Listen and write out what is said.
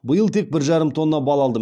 биыл тек бір жарым тонна бал алдым